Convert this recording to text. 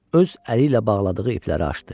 Öz əli ilə bağladığı ipləri açdı.